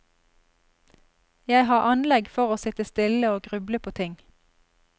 Jeg har anlegg for å sitte stille og gruble på ting.